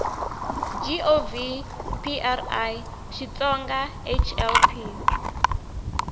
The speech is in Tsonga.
gov pri xitsonga hl p